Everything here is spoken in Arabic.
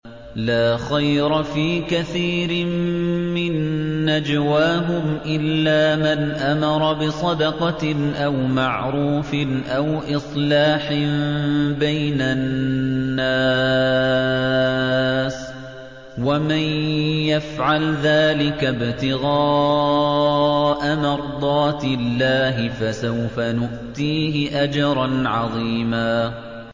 ۞ لَّا خَيْرَ فِي كَثِيرٍ مِّن نَّجْوَاهُمْ إِلَّا مَنْ أَمَرَ بِصَدَقَةٍ أَوْ مَعْرُوفٍ أَوْ إِصْلَاحٍ بَيْنَ النَّاسِ ۚ وَمَن يَفْعَلْ ذَٰلِكَ ابْتِغَاءَ مَرْضَاتِ اللَّهِ فَسَوْفَ نُؤْتِيهِ أَجْرًا عَظِيمًا